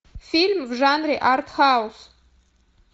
фильм в жанре артхаус